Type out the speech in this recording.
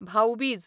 भाऊ बीज